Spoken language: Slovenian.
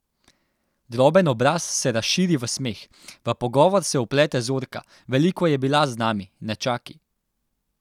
Droben obraz se razširi v smeh, v pogovor se vplete Zorka: "Veliko je bila z nami, nečaki.